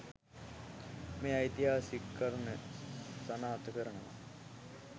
මේ ඓතිහාසික කරුණ සනාථ කරනවා.